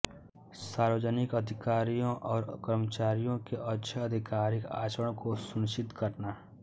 सार्वजनिक अधिकारियों और कर्मचारियों के अच्छे आधिकारिक आचरण को सुनिश्चित करना